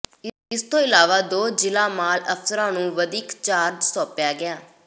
ਇਸ ਤੋਂ ਇਲਾਵਾ ਦੋ ਜ਼ਿਲ੍ਹਾ ਮਾਲ ਅਫ਼ਸਰਾਂ ਨੂੰ ਵਧੀਕ ਚਾਰਜ ਸੌਂਪਿਆ ਗਿਆ